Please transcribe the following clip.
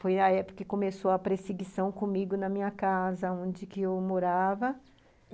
Foi na época que começou a perseguição comigo na minha casa, onde que eu morava.